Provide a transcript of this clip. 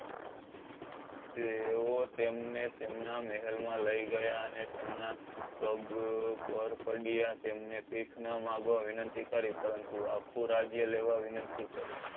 તેઓ તેમણે તેમના મહેમ માં લઈ ગયા અને તેમના પગ પર પડ્યા તેમણે વિનંતી કરી પરંતુ ખોરાગ્ય લેવા વિનંતી કરી